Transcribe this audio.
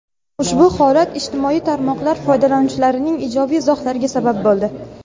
Ushbu holat ijtimoiy tarmoqlar foydalanuvchilarining ijobiy izohlariga sabab bo‘ldi.